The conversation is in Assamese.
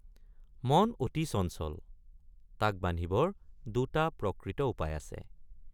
মন অতি চঞ্চল তাক বান্ধিবৰ দুটা প্ৰকৃত উপায় আছে।